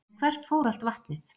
En hvert fór allt vatnið?